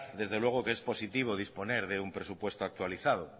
desde luego que es positivo disponer de un presupuesto actualizado